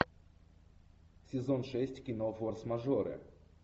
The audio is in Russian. сезон шесть кино форс мажоры